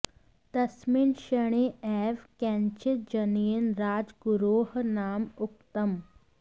तस्मिन् क्षणे एव केनचित् जनेन राजगुरोः नाम उक्तम्